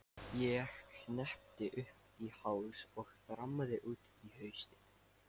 Ég hneppti upp í háls og þrammaði út í haustið.